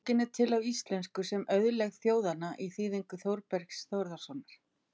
Bókin er til á íslensku sem Auðlegð þjóðanna í þýðingu Þorbergs Þórssonar.